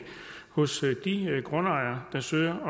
hos de grundejere der søger